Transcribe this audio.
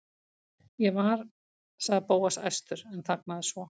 Ég var.- sagði Bóas æstur en þagnaði svo.